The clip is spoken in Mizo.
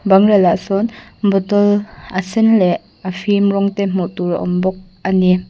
bangrel ah sawn bottle a sen leh a fim rawng te hmuh tur a awm bawk a ni.